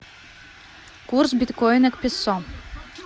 курс биткоина к песо